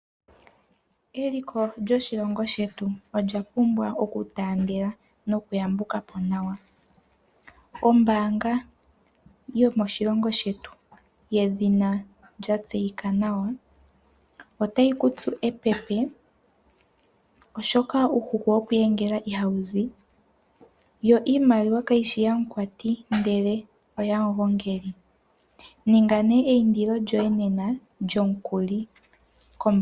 Eliko lyoshilongo shetu olya pumbwa oku taandela noku yambuka po nawa. Ombaanga yomoshilongo shetu yedhina lya tseyika nawa Nedbank otayi ku tsu epepe, oshoka uuhuku wokwiiyengela ihawu zi yo iimaliwa kayishi ya mu kwati ndele oyamu gongeli, ninga eyindilo lyoye nena lyomukuli.